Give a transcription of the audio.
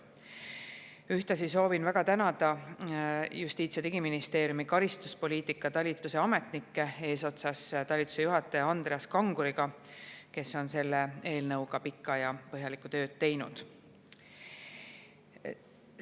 Ühtlasi soovin väga tänada Justiits- ja Digiministeeriumis karistuspoliitikaga talituse ametnikke eesotsas talituse juhataja Andreas Kanguriga, kes on selle eelnõuga pikalt ja põhjalikult tööd teinud.